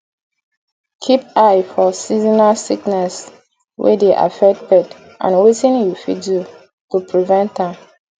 keep eye for seasonal sickness wey dey affect pet and wetin you fit do to prevent am